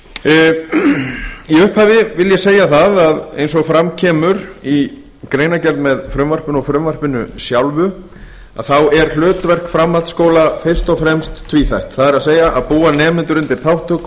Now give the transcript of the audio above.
í upphafi vil ég segja það að eins og fram kemur í greinargerð með frumvarpinu og frumvarpinu sjálfu að þá er hlutverk framhaldsskóla fyrst og fremst tvíþætt það er að búa nemendur undir þátttöku